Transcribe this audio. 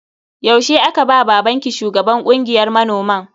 Yaushe aka ba babanki shugaban kungiyar manoman?